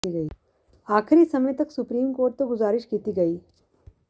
ਆਖਰੀ ਸਮੇਂ ਤੱਕ ਸੁਪਰੀਮ ਕੋਰਟ ਤੋਂ ਗੁਜ਼ਾਰਿਸ਼ ਕੀਤੀ ਗਈ